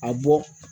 A bɔ